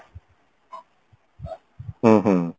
ହ୍ମ ହ୍ମ